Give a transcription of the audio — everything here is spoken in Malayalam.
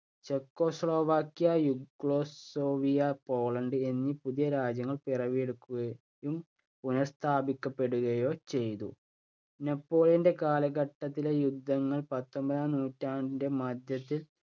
ചെക്കോസ്ലൊവാക്യ, യൂഗോസ്ലാവിയ, പോളണ്ട് എന്നീ പുതിയ രാജ്യങ്ങൾ പിറവിയെടുക്കുകയും, പുനഃസ്ഥാപിക്കപ്പെടുകയോ ചെയ്തു. നെപ്പോളിയന്‍റെ കാലഘട്ടത്തിലെ യുദ്ധങ്ങള്‍ പത്തൊമ്പതാം നൂറ്റാണ്ടിന്‍റെ മധ്യത്തില്‍